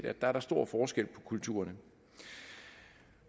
at der er stor forskel på kulturerne